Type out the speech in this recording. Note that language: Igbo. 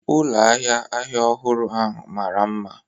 Ụlọ ahịa ahịa ọhụrụ ahụ mara mma